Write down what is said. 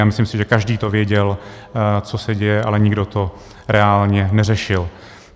A myslím si, že každý to věděl, co se děje, ale nikdo to reálně neřešil.